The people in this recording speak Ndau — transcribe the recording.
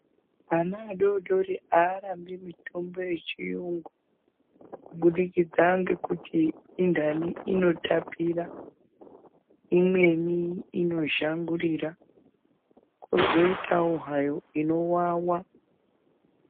Ana adodori aarambi mitombo yechiyungu kubudikidza ngekuti indani inotapira, imweni inozhangurira kwozoitawo hayo inowawa.